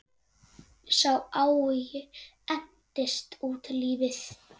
Sá áhugi entist út lífið.